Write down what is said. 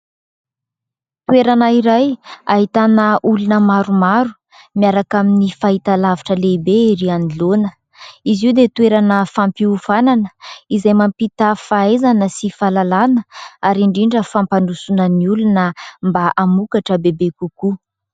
Toerana iray ahitana olona maromaro miaraka amin'ny fahitalavitra lehibe ery anoloana, izy io dia toerana fampiofanana izay mampita fahaizana sy fahalalana ary indrindra fampandrosoana ny olona mba hamokatra bebe kokoa.